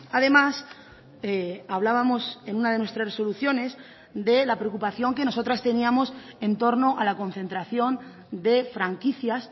además hablábamos en una de nuestras resoluciones de la preocupación que nosotras teníamos en torno a la concentración de franquicias